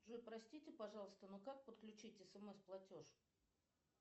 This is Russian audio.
джой простите пожалуйста но как подключить смс платеж